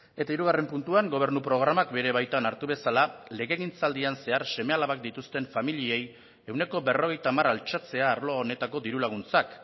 eta hirugarren puntuan gobernu programak bere baitan hartu bezala legegintzaldian zehar seme alabak dituzten familiei ehuneko berrogeita hamar altxatzea arlo honetako diru laguntzak